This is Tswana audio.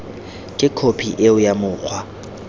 ke khophi eo ya mokgwa